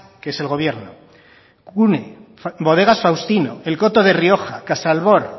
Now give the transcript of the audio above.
que es el gobierno cune bodegas faustino el coto de rioja casalbor